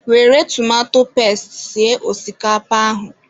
Were tomato pesti sie osikapa ahụ.